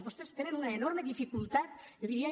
vostès tenen una enorme dificultat jo diria